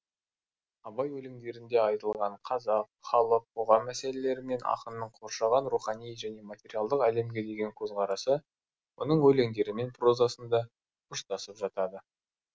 абай өлеңдерінде айтылған қазақ халық қоғам мәселелері мен ақынның қоршаған рухани және материалдық әлемге деген көзқарасы оның өлеңдері мен прозасында ұштасып жатады